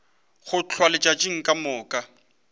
go hlwa letšatši ka moka